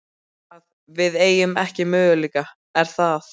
Þannig að við eigum ekki möguleika, er það?